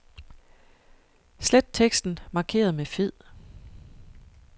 Slet teksten markeret med fed.